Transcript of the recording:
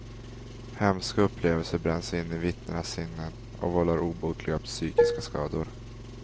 Hemska upplevelser bränns in i vittnenas sinnen, och vållar obotliga psykiska skador.